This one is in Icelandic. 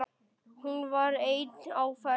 Hún var ein á ferð.